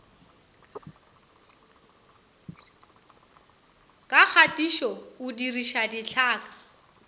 ka kgatišo o diriša ditlhaka